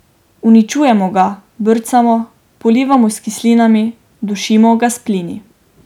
Uničujemo ga, brcamo, polivamo s kislinami, dušimo ga s plini.